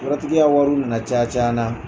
Yɔrɔtigi ka wariw nana caya caya n na.